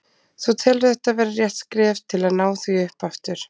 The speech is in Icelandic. Þú telur þetta vera rétt skref til að ná því upp aftur?